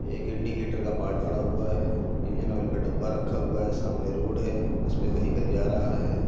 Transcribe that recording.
एक इंडिकेटर का पार्ट पड़ा हुआ है। इंजन ऑयल का डब्बा रखा हुआ है। सामने रोड है। उसपे वेहीकल जा रहा है।